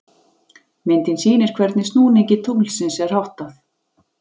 Myndin sýnir hvernig snúningi tunglsins er háttað.